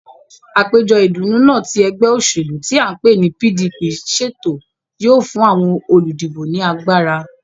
Àpéjọ ìdùnnú náà tí ẹgbẹ́ òṣèlú tí à ń pè ní PDP ṣètò yóò fún àwọn olùdìbò ní agbára